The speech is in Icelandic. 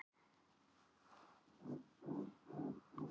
fólk í mismunandi löndum fer auðvitað eftir mismunandi mælikvörðum á fegurð